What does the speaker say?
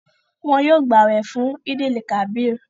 Wọn yóò gbàwẹ fún Eid-el-kabir